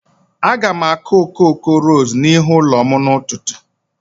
Aga m akụ okoko ros n'ihu ụlọ m n'ụtụtụ.